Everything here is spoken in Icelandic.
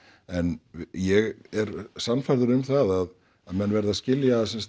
en ég er sannfærður um það að menn verða að skilja sem sagt